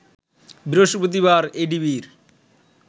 বৃহস্পতিবার এডিবির